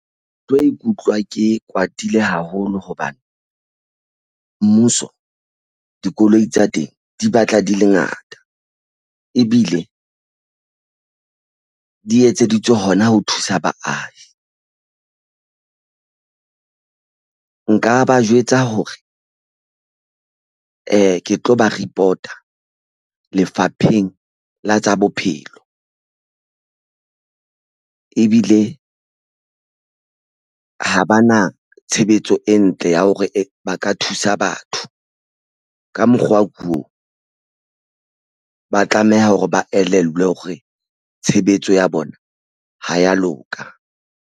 Ke tlo ikutlwa ke kwatile haholo hobane mmuso dikoloi tsa teng di batla di le ngata ebile di etseditswe hona ho thusa baahi nka ba jwetsa hore eh ke tlo ba report-a Lefapheng la tsa Bophelo. Ebile ha ba na tshebetso e ntle ya hore ba ka thusa batho ka mokgwa ko ba tlameha hore ba elellwe hore tshebetso ya bona ha ya loka.